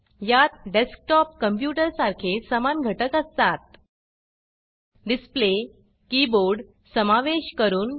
यात desktop computer सारखे समान घटक असतात डिसप्ले कीबोर्ड समावेश करून